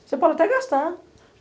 Você pode até gastar.